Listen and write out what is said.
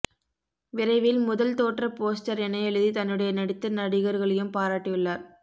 விரைவில் முதல் தோற்ற போஸ்டர் என எழுதி தன்னுடைய நடித்த நடிகர்களையும் பாராட்டியுள்ளார்